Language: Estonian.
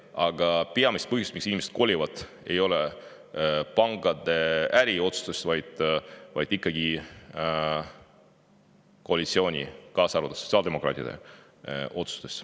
Aga peamised põhjused, miks inimesed kolivad, ei ole pankade äriotsused, vaid ikkagi koalitsiooni, kaasa arvatud sotsiaaldemokraatide otsused.